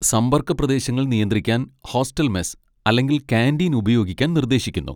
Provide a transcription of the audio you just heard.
സമ്പർക്ക പ്രദേശങ്ങൾ നിയന്ത്രിക്കാൻ ഹോസ്റ്റൽ മെസ് അല്ലെങ്കിൽ കാന്റീൻ ഉപയോഗിക്കാൻ നിർദ്ദേശിക്കുന്നു.